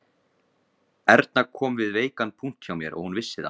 Erna kom við veikan punkt hjá mér og hún vissi það